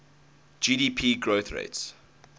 gdp growth rates